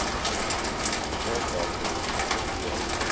plaaswerker per week